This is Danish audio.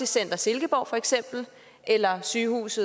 center i silkeborg eller sygehus